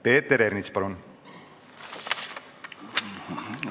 Peeter Ernits, palun!